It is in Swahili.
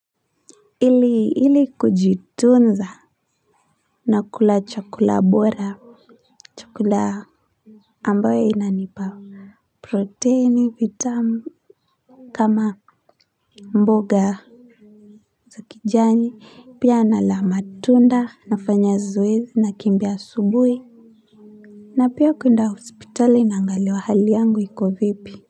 Ili ili kujitunza na kula chakula bora chakula ambayo inanipa proteni vitamu kama mboga za kijani pia nala matunda nafanya zoezi na kimbia asubuhi na pia kwenda hospitali naangaliwa hali yangu iko vipi.